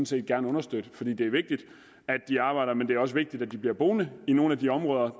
set gerne understøtte for det det er vigtigt at de arbejder men det er også vigtigt at de bliver boende i nogle af de områder